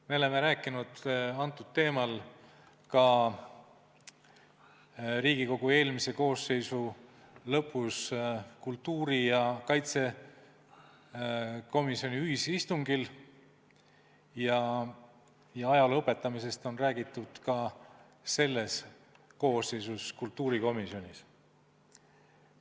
Me oleme arutlenud sellel teemal ka Riigikogu eelmise koosseisu lõpus kultuuri- ja kaitsekomisjoni ühisistungil ning ajaloo õpetamisest on räägitud ka selles koosseisus kultuurikomisjonis.